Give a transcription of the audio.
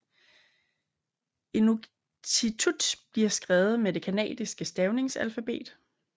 Inuktitut bliver skrevet med det kanadiske stavningsalfabet